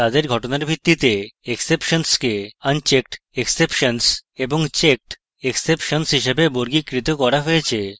তাদের ঘটনার ভিত্তিতে exceptions কে unchecked exceptions এবং checked exceptions হিসেবে বর্গীকৃত করা হয়েছে